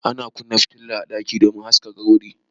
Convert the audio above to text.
Ana kunna fitila a ɗaki domin a haska wuri.